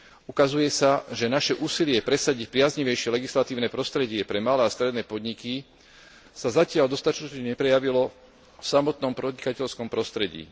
Ukazuje sa, že naše úsilie presadiť priaznivejšie legislatívne prostredie pre malé a stredné podniky sa zatiaľ dostatočne neprejavilo v samotnom podnikateľskom prostredí.